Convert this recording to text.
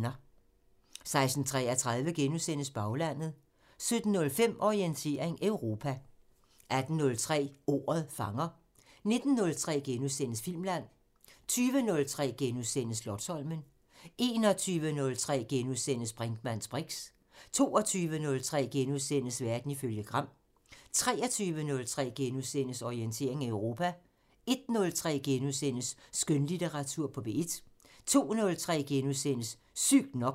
16:33: Baglandet * 17:05: Orientering Europa 18:03: Ordet fanger * 19:03: Filmland * 20:03: Slotsholmen * 21:03: Brinkmanns briks * 22:03: Verden ifølge Gram * 23:03: Orientering Europa * 01:03: Skønlitteratur på P1 * 02:03: Sygt nok *